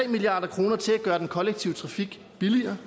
milliard kroner til at gøre den kollektive trafik billigere